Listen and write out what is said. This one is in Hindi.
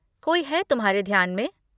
कोई है तुम्हारे ध्यान में?